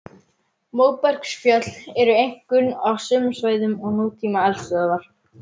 Móbergsfjöll eru einkum á sömu svæðum og nútíma eldstöðvar.